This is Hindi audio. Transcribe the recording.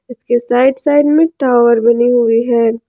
इसके साइड साइड में टावर बनी हुई है।